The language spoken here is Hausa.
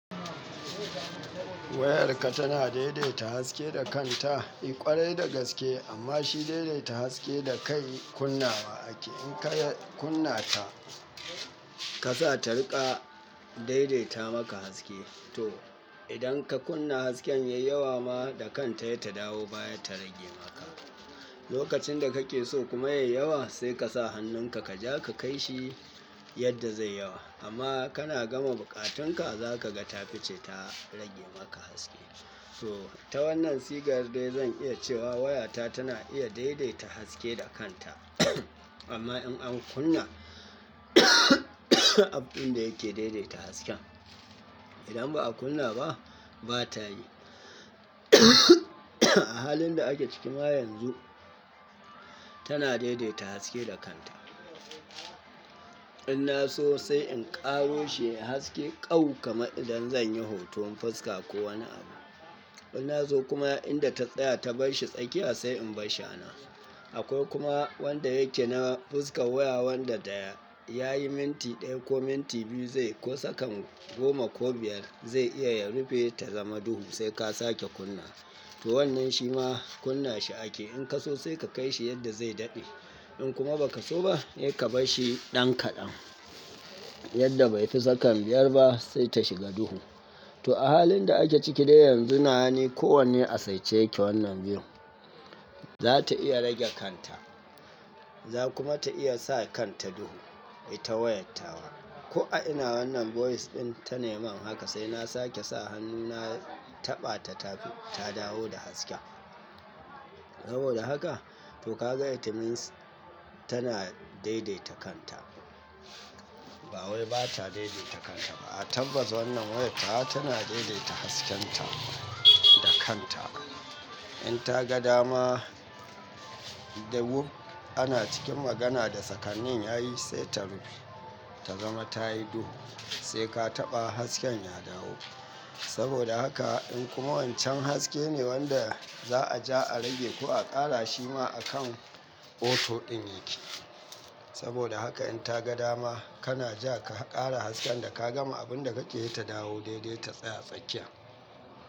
Wayarka tana daidaita haske da kanta, eh ƙwarai da gaske amma shi daidaita haske da kai kunna wa ake. In ka kunna ta, ka sa ta riƙa daidaita maka haske. To idan ka kunna hasken yayi yawa ma da kanta he ta dawo baya ta rage maka. Lokacin da kake so kuma yayi yawa sai ka sa hannunka ka ja ka kai shi yadda zai yawa. Amma kana gama buƙatunka za kaga ta fice ta rage maka haske. So ta wannan sigar dai zan iya cewa wayata tana iya daidaita haske da kanta amma in an kunna abun da yake daidaita hasken. Idan ba a kunna ba bata yi. A halin da ake ciki ma yanzu tana daidaita haske da kanta. Ina so sai in ƙaro shi haske ƙau kama idan zan yi hoton fuska ko wani abu. Ina so kuma inda ta tsaya ta barshi tsakiya sai in barshi anan. Akwai kuma wanda yake na fuskar waya wanda daya yayi minti ɗaya ko minti biyu zai ko sakan goma ko biyar zai iya ya rufe ta zama duhu sai ka sake kunna. To wannan shi ma kunna shi ake. In ka so sai ka kai shi yadda zai daɗe. In kuma ba ka so ba sai ka barshi ɗan kaɗan yadda bai fi tsakan biyar ba sai ta shiga duhu. To a halin da ake ciki dai yanzu nawa ni kowanne a saice yake wannan biyun. Za ta iya rage kanta. Za kuma ta iya sa kan ta duhu, ita wayat tawa. Ko a ina wannan voice ɗin ta nema haka sai na sake sa hannu na taɓa ta tafi ta dawo da haske. Saboda haka to ka ga it means tana daidaita kanta. Ba wai bata dai-daita kanta ba. A tabbatas wannan wayan tawa tana dai-daita hasken ta da kanta. In ta ga dama, dahu ana cikin magana da sakan nin yayi sai ta rufe ta zama tayi duhu, sai ka taɓa hasken ya dawo. Saboda haka in kuma wancan haske ne wanda za'a ja a rage ko a ƙara shi ma akan auto ɗin yake. Saboda haka in ta ga dama kana ja ka ƙara hasken da ka gama abun da kake yi ta dawo dai-dai ta tsaya tsakiya.